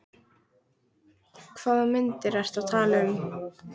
Hvaða myndir ertu að tala um?